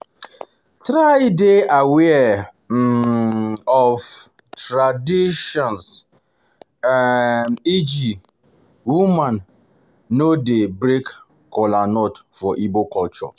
Try de aware um of um traditions um eg woman no de break Kolanut for Igbo culture